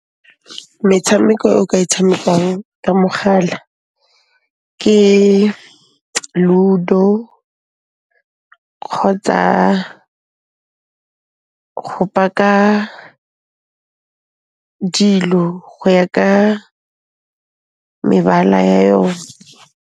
Metshameko e o ka e tshamekang ka mogala ke Ludo kgotsa go paka dilo go ya ka mebala ya yone.